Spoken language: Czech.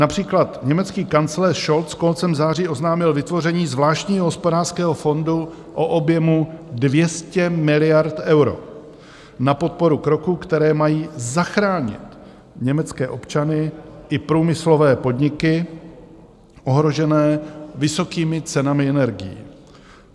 Například německý kancléř Scholz koncem září oznámil vytvoření zvláštního hospodářského fondu o objemu 200 miliard eur na podporu kroků, které mají zachránit německé občany i průmyslové podniky ohrožené vysokými cenami energií.